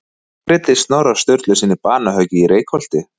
Hver greiddi Snorra Sturlusyni banahöggið í Reykholti?